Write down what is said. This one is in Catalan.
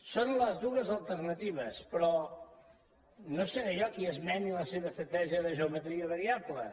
són les dues alternatives però no seré jo qui esmeni la seva estratègia de geometria variable